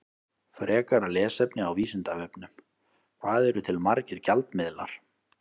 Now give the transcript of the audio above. Frekara lesefni á Vísindavefnum: Hvað eru til margir gjaldmiðlar?